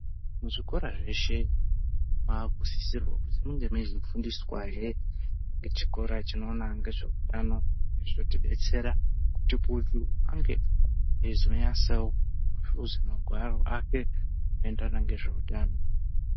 Muzvikora zveshe maakusisirwa kuzi munge meizofundiswahe ngechikora chinoona ngezveutano. Zvotidetsera kuti muntu ange eizonyatsawo kuhluza magwaro ake anoendrrana ngezveutano.